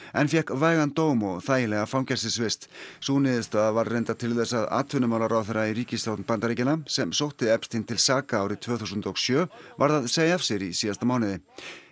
en fékk vægan dóm og þægilega fangelsisvist sú niðurstaða varð reyndar til þess að atvinnumálaráðherra í ríkisstjórn Bandaríkjanna sem sótti til saka árið tvö þúsund og sjö varð að segja af sér í síðasta mánuði